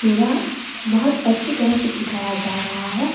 बहोत अच्छी तरह से सिखाया जा रहा है।